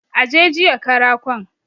Aje jiye karakon